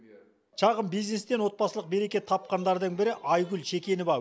шағын бизнестен отбасылық береке тапқандардың бірі айгүл шекенова